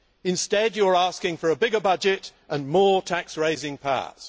Instead, you are asking for a bigger budget and more tax raising powers.